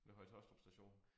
Ved Høje Taastrup station